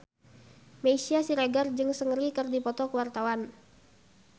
Meisya Siregar jeung Seungri keur dipoto ku wartawan